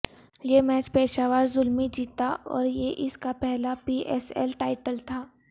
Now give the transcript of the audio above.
یہ میچ پشاور زلمی جیتا اور یہ اس کا پہلا پی ایس ایل ٹائیٹل تھا